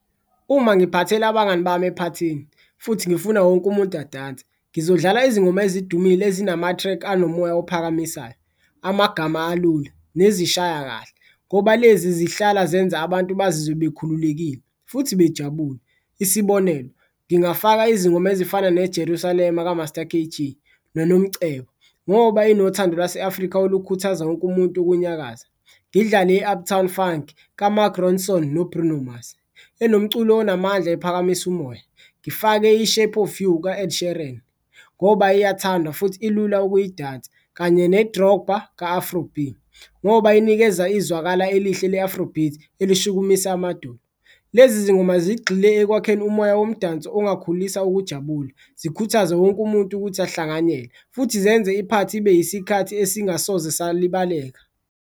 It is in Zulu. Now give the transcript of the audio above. Uma ngiphathela abangani bami ephathini futhi ngifuna wonke umuntu adanse ngizodlala izingoma ezidumile ezinamathrekhi anomoya ophakamisayo, amagama alula nezishaya kahle ngoba lezi zihlala zenza abantu bazizwe bekhululekile futhi bejabule. Isibonelo ngingafaka izingoma ezifana nejerusalema kaMaster K_G noNomcebo ngoba inothando lwase Afrika olukhuthaza wonke umuntu ukunyakaza. Ngidlale i-Uptown Funk kaMark Ronson noBruno Mars, enomculo onamandla ephakamisa umoya, ngifake i-Shape of You ka-Ed Shereen ngoba iyathandwa futhi ilula ukuyidayisa, kanye ne-Dropper ka-Afro-B ngoba inikeza izwakala elihle le-afro beat elishukumisa amadolo. Lezi zingoma zigxile ekwakheni umoya womdanso ongakhulisa ukujabula, zikhuthaze wonke umuntu ukuthi ahlanganyele futhi zenze iphathi ibe yisikhathi esingasoze salibaleka.